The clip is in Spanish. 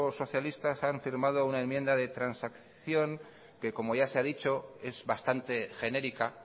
socialista han firmado una enmienda de transacción que como ya se ha dicho es bastante genérica